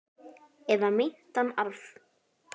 Eða meintan arf.